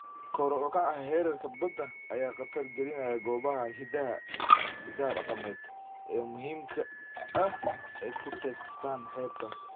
Kor u kaca heerarka badda ayaa khatar gelinaya goobaha hiddaha dhaqameed ee muhiimka ah ee ku teedsan xeebta.